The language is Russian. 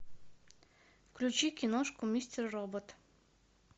включи киношку мистер робот